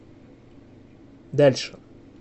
дальше